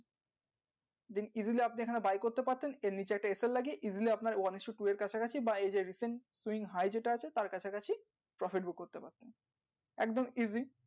then easily আপনি এখানে buy করতে পাচ্ছেন আর নিচে একটা লাগিয়ে easily আপনার one isto two এর কাছাকাছি বা এই যে recent যেটা আছে তার কাছাকাছি profit book করতে পারবে একদম easy